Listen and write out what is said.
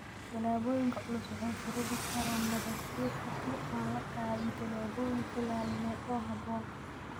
Roobabka culusi waxa ay sababi karaan nabaad guur haddii aan la qaadin tillaabooyin ilaalineed oo habboon.